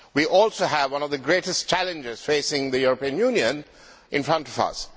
We also have one of the greatest challenges facing the European Union in front of us.